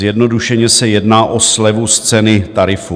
Zjednodušeně se jedná o slevu z ceny tarifu.